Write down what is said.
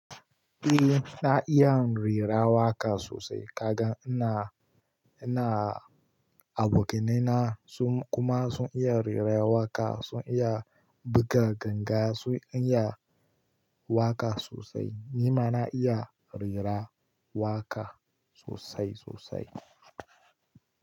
Eh na iyan rera waƙa sosai. Kagan ina, ina, abokanaina sun kuma sun iya rera waƙa, sun iya buga ganga, sun iya waƙa sosai. Ni ma na iya rera waƙa sosai sosai.